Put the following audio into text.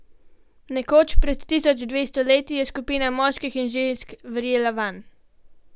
Nekoč, pred tisoč devetsto leti, je skupina moških in žensk verjela vanj.